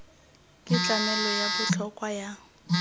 ke tlamelo ya botlhokwa ya